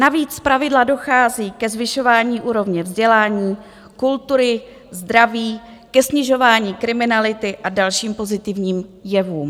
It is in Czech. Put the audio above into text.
Navíc zpravidla dochází ke zvyšování úrovně vzdělání, kultury, zdraví, ke snižování kriminality a dalším pozitivním jevům.